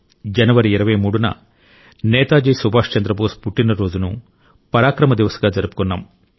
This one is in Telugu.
జనవరి 23న నేతాజీ సుభాష్ చంద్రబోస్ పుట్టినరోజును పరాక్రామ్ దివస్ గా జరుపుకున్నాం